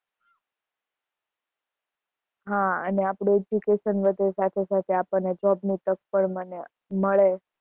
હા અને આપણું education વધે, સાથે-સાથે આપણને job ની તક પણ મળે